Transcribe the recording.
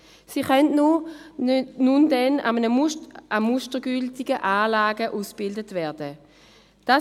Sie werden nun dann in mustergültigen Anlagen ausgebildet werden können.